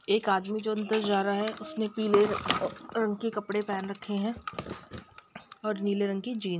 एक आदमी जो अंदर जा रहा है उसने पीले रंग के कपड़े पहेन रखे हैं और नीले रंग की जीन --